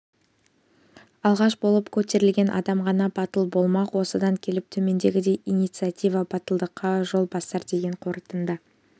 алғаш болып көтерілген адам ғана батыл болмақ осыдан келіп төмендегідей инициатива батылдыққа жол бастар деген қорытынды